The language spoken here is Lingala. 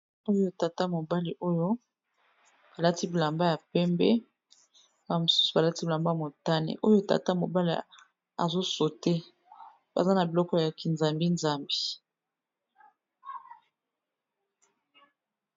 Oyo tata mobali oyo alati bilamba ya pembe ba mosusu ba lati bilamba motane, oyo tata mobali azo saute baza na biloko ya kinzambi-zambi.